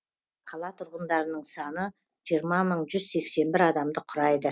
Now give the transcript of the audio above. қала тұрғындарының саны жиырма мың жүз сексен бір адамды құрайды